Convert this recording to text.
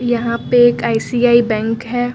यहां पे एक आई_सी_आई बैंक है।